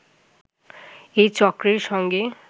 এ চক্রের সঙ্গে